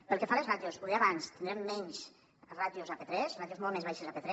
pel que fa als ràtios ho deia abans tindrem menys ràtios a p3 ràtios molt més baixes a p3